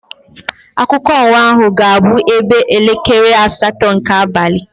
Akụkọ ụwa ahụ ga-abụ ebe elekere asatọ nke abalị.